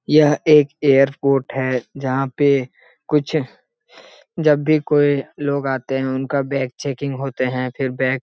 यह एक एयरपोर्ट है जहाँ पे कुछ जब भी कोई लोग आते हैं उनका बैग चेकिंग होते है। फिर बैग --